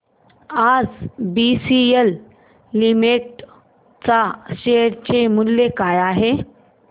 आज BCL limited च्या share चे मूल्य काय आहे